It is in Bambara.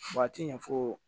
Waati ɲɛfɔ